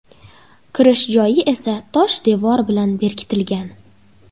Kirish joyi esa tosh devor bilan berkitilgan.